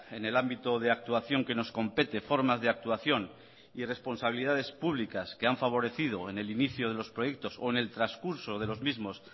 en el ámbito de actuación que nos compete formas de actuación y responsabilidades públicas que han favorecido en el inicio de los proyectos o en el transcurso de los mismos